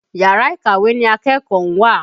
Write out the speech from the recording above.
Yàrá ìkàwé ni akẹ́kọ̀ọ́ ń wà.